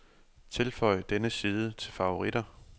Tilføj denne side til favoritter.